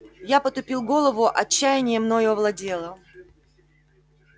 я потупил голову отчаяние мною овладело